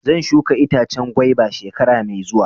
Zan shuka itacen gwaiba shekara mai zuwa.